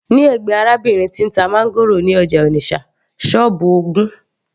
ní ẹ̀gbẹ́ arábìnrin tí ń ta máńgòrò ní ọjà Onitsha, sọ́ọ́bù ogún